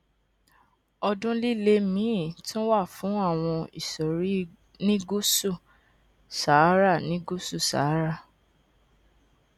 ọdún líle míì tún wà fún àwọn ìsòrí ní gúúsù sahara ní gúúsù sahara